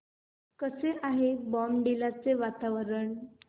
कसे आहे बॉमडिला चे वातावरण